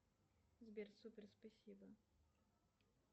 сбер супер спасибо